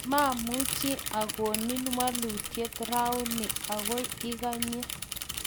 mamuchi akonin wolutiet rauni, agoi ikany